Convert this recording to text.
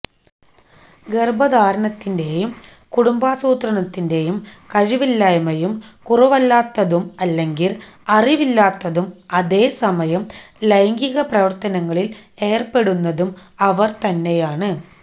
ഗർഭധാരണത്തിന്റെയും കുടുംബാസൂത്രണത്തിന്റെയും കഴിവില്ലായ്മയും കുറവല്ലാത്തതും അല്ലെങ്കിൽ അറിവില്ലാത്തതും അതേസമയം ലൈംഗിക പ്രവർത്തനങ്ങളിൽ ഏർപ്പെടുന്നതും അവർ തന്നെയാണ്